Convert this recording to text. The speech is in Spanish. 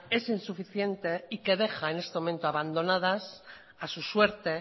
es insuficiente y que deja en este momento abandonadas a su suerte